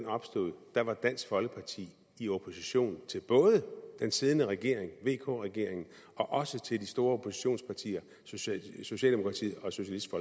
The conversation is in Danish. opstod var dansk folkeparti i opposition til både den siddende regering vk regeringen og og de store oppositionspartier socialdemokratiet og socialistisk